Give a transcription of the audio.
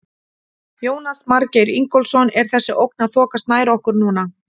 Jónas Margeir Ingólfsson: Er þessi ógn að þokast nær okkur núna?